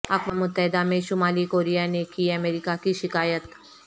اقوام متحدہ میں شمالی کوریا نے کی امریکہ کی شکایت